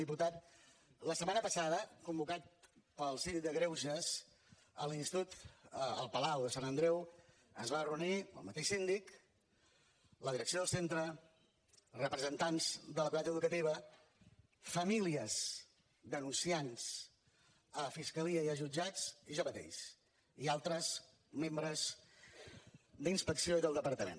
diputat la setmana passada convocat pel síndic de greuges a l’institut el palau de sant andreu es van reunir el mateix síndic la direcció del centre representants de la comunitat educativa famílies denunciants a fiscalia i a jutjats i jo mateix i altres membres d’inspecció i del departament